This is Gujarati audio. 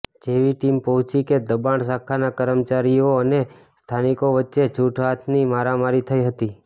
જેવી ટીમ પહોંચી કે દબાણ શાખાના કર્મચારીઓ અને સ્થાનિકો વચ્ચે છૂટાહાથની મારામારી થઇ હતી